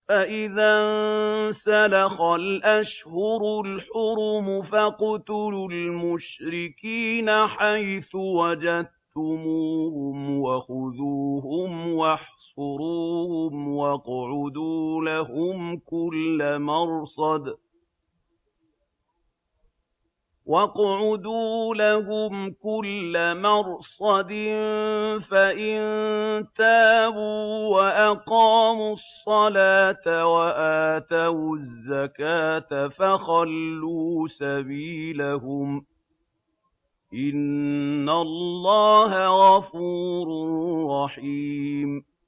فَإِذَا انسَلَخَ الْأَشْهُرُ الْحُرُمُ فَاقْتُلُوا الْمُشْرِكِينَ حَيْثُ وَجَدتُّمُوهُمْ وَخُذُوهُمْ وَاحْصُرُوهُمْ وَاقْعُدُوا لَهُمْ كُلَّ مَرْصَدٍ ۚ فَإِن تَابُوا وَأَقَامُوا الصَّلَاةَ وَآتَوُا الزَّكَاةَ فَخَلُّوا سَبِيلَهُمْ ۚ إِنَّ اللَّهَ غَفُورٌ رَّحِيمٌ